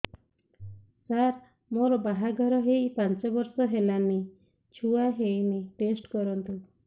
ସାର ମୋର ବାହାଘର ହେଇ ପାଞ୍ଚ ବର୍ଷ ହେଲାନି ଛୁଆ ହେଇନି ଟେଷ୍ଟ କରନ୍ତୁ